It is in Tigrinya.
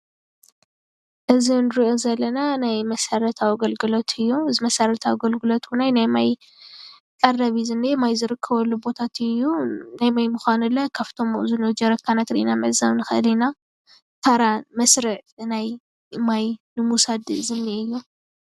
እዚ ንሪኦ ዘለና ናይ መሰረታዊ ኣገልግሎት እዩ። እዚ መሰረታዊ ኣገልግሎት እዉን ናይ ማይ ቀረብ እዩ። ዝኒኤ ማይ ዝርከበሉ ቦታ እዩ። ናይ ማይ ምዃኑ ለ ካብቶም ኣብኡ ዝንኤዉ ጀሪካናት ሪኢና ምዕዛብ ንኽእል ኢና ታራ ፣መስርዕ ዝናይ ማይ ንምዉሳድ ዝንኤ እዩ።